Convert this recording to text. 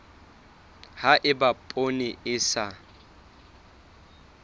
ha eba poone e sa